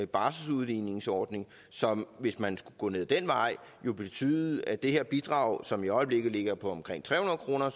barselsudligningsordning som hvis man skulle gå ad den vej ville betyde at det her bidrag som i øjeblikket ligger på omkring tre hundrede kroner